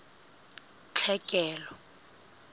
tlhekelo